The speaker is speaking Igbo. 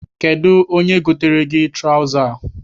Kedụ onye goteere gị traụza a?